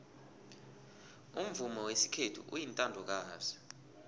umvumo wesikhethu uyintandokazi